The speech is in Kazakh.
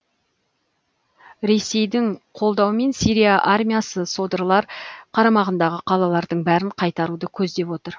ресейдің қолдауымен сирия армиясы содырлар қарамағындағы қалалардың бәрін қайтаруды көздеп отыр